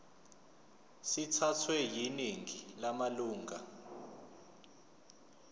sithathwe yiningi lamalunga